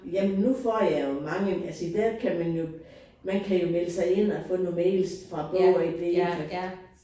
Jamen nu får jeg jo mange altså der kan man jo man kan jo melde sig ind og få nogle mails fra Bog og Idé for